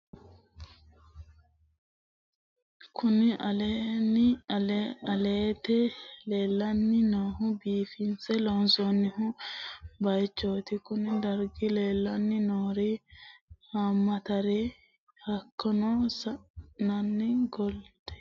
Kunni illete leelani noohu biifiñse loonsonni bayiichoti konni darigira leelani noori haamatareeti hakiino sa'eena googide, siina, jabanu, masoowe, sanbiile nna wkl.